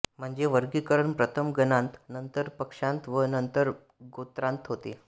म्हणजे वर्गीकरण प्रथम गणांत नंतर पक्षांत व नंतर गोत्रांत होते